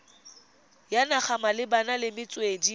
ya naga malebana le metswedi